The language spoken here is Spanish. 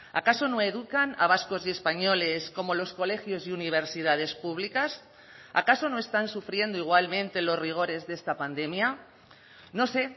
acaso no educan a vascos y españoles como los colegios y universidades públicas acaso no están sufriendo igualmente los rigores de esta pandemia no sé